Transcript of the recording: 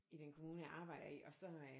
I den kommune jeg arbejder i og så øh